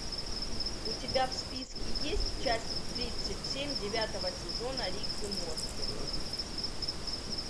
у тебя в списке есть часть тридцать семь девятого сезона рик и морти